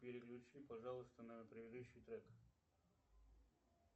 переключи пожалуйста на предыдущий трек